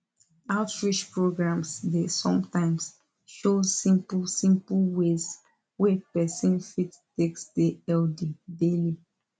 outreach programs dey sometimes show simple simple ways wey person fit take stay healthy daily